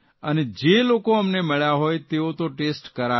અને જે લોકો અમને મળ્યા હોય તેઓ તો ટેસ્ટ કરાવે